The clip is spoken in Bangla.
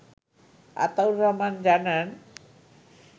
আতাউর রহমান জানান